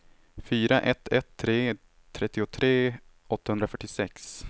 fyra ett ett tre trettiotre åttahundrafyrtiosex